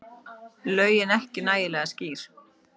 Lögin ekki nægilega skýr